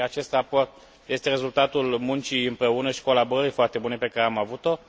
Acest raport este rezultatul muncii împreună și colaborării foarte bune pe care am avut o.